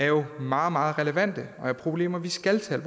jo meget meget relevante og det er problemer vi skal tage